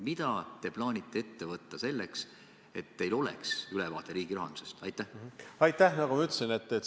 Mida te plaanite ette võtta selleks, et teil oleks ülevaade riigirahandusest?